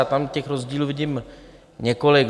Já tam těch rozdílů vidím několik.